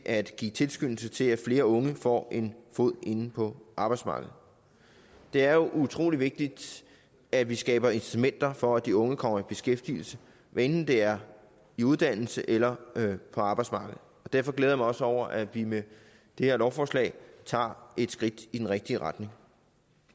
at give tilskyndelse til at flere unge får en fod ind på arbejdsmarkedet det er jo utrolig vigtigt at vi skaber incitamenter for at de unge kommer i beskæftigelse hvad enten det er i uddannelse eller på arbejdsmarkedet derfor glæder jeg mig også over at vi med det her lovforslag tager et skridt i den rigtige retning